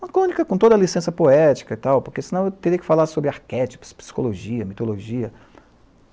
Uma crônica com toda a licença poética e tal, porque senão eu teria que falar sobre arquétipos, psicologia, mitologia.